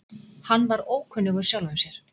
Hann var ókunnugur sjálfum sér.